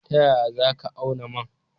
Ta yaya za ka auna man?